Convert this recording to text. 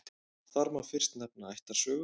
Þar má fyrst nefna ættarsögu.